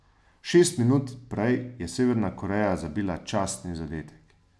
Šest minut prej je Severna Koreja zabila častni zadetek.